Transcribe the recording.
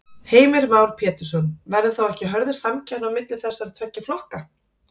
Heimir Már Pétursson: Verður þá ekki hörð samkeppni á milli þessara tveggja flokka?